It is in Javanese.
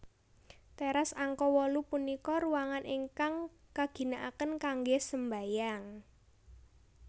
Teras angka wolu punika ruangan ingkang kaginakaken kanggé sembahyang